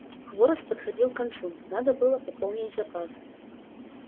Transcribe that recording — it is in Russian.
хворост подходил к концу надо было пополнить запас